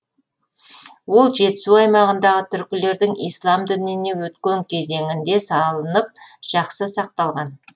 ол жетісу аймағындағы түркілердің ислам дініне өткен кезеңінде салынып жақсы сақталған